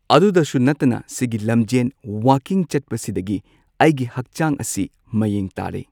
ꯑꯗꯨꯗꯁꯨ ꯅꯠꯇꯅ ꯁꯤꯒꯤ ꯂꯝꯖꯦꯟ ꯋꯥꯀꯤꯡ ꯆꯠꯄꯁꯤꯗꯒꯤ ꯑꯩꯒꯤ ꯍꯛꯆꯥꯡ ꯑꯁꯤ ꯃꯌꯦꯡ ꯇꯥꯔꯦ꯫